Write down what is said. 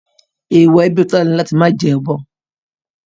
Èèwọ̀ ẹbí Tọ́lá ni láti máa jẹ ọ̀bọ